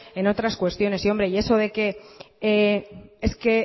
en otras cuestiones y eso de que es que